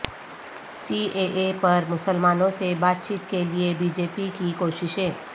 C A A پر مسلمانوں سے بات چیت کیلئے بی جے پی کی کوشش